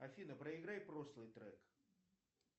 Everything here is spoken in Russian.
афина проиграй прошлый трек